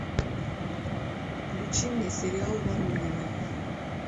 включи мне сериал воронины